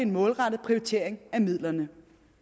målrettet prioritering af midlerne